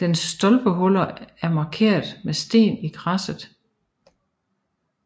Dens stolpehuller er markeret med sten i græsset